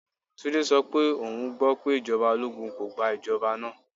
Tunde so pe oun gbo pe ijọba ologun ko gba ijọba naa.